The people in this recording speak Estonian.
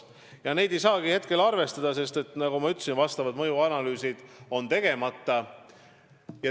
Ja seda raha ei saagi arvestada, sest, nagu ma ütlesin, asjaomased mõjuanalüüsid on tegemata.